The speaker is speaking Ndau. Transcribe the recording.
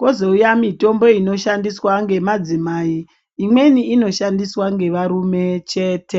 kozouya mitombo inoshandiswa ngemadzimai. Imweni inoshandiswa ngevarume chete.